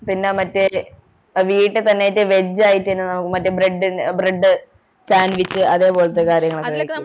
പിന്നെ മറ്റേ വീട്ടിൽ തന്നെ veg ആയിട്ട് മറ്റേ bread ന് bread sanvich അതേപോലെത്തെ കാര്യങ്ങളൊക്ക